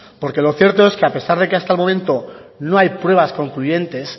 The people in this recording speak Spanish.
porque lo cierto es que a pesar de que hasta el momento no hay pruebas concluyentes